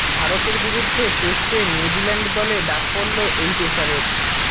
ভারতের বিরুদ্ধে টেস্টে নিউজিল্যান্ড দলে ডাক পড়ল এই পেসারের